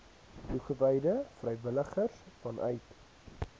toegewyde vrywilligers vanuit